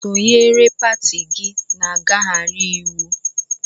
Sonyeere pati gị na ngaghari íwú!